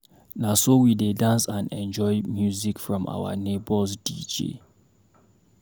Na so we dey dance and enjoy music from our neighbor's DJ.